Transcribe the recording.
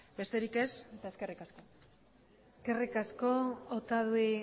besterik ez eta eskerrik asko eskerrik asko otadui